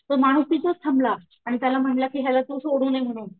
तो माणूस तिथंच थांबला आणि त्याला म्हंटलं कि ह्याला तू सोडून ये म्हणून,